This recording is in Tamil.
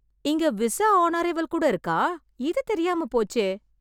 இங்க விசா ஆன் அரைவல் கூட இருக்கா! இது தெரியாமப் போச்சே!